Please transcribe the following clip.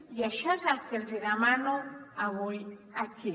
i això és el que els hi demano avui aquí